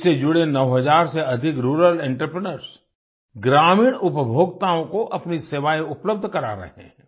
इससे जुड़े 9000 से अधिक रूरल एंटरप्रेन्योर्स ग्रामीण उपभोक्ताओं को अपनी सेवाएँ उपलब्ध करा रहे हैं